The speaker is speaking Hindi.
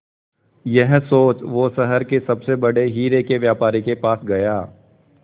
यह सोच वो शहर के सबसे बड़े हीरे के व्यापारी के पास गया